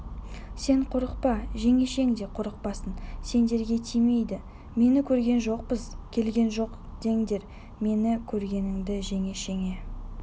сен қорықпа жеңешең де қорықпасын сендерге тимейді мені көрген жоқпыз келген жоқ деңдер мені көргеніңді жеңешеңе